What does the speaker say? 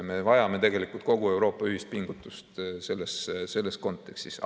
Me vajame tegelikult kogu Euroopa ühist pingutust selles kontekstis.